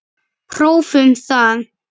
Prófum það.